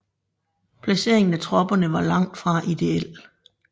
Placeringen af tropperne var langt fra ideel